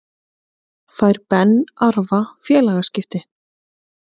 Fær Ben Arfa félagaskipti?